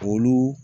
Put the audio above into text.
Olu